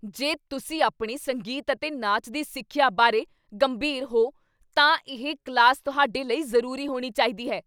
ਜੇ ਤੁਸੀਂ ਆਪਣੀ ਸੰਗੀਤ ਅਤੇ ਨਾਚ ਦੀ ਸਿੱਖਿਆ ਬਾਰੇ ਗੰਭੀਰ ਹੋ ਤਾਂ ਇਹ ਕਲਾਸ ਤੁਹਾਡੇ ਲਈ ਜ਼ਰੂਰੀ ਹੋਣੀ ਚਾਹੀਦੀ ਹੈ।